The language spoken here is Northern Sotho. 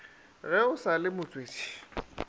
ge o sa le motswetši